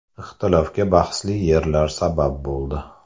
Ixtilofga bahsli yerlar sabab bo‘ldi.